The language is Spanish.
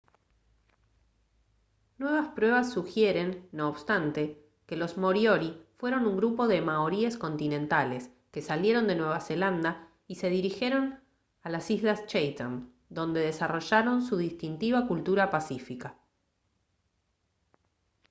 nuevas pruebas sugieren no obstante que los moriori fueron un grupo de maoríes continentales que salieron de nueva zelanda y se dirigieron a las islas chatham donde desarrollaron su distintiva cultura pacífica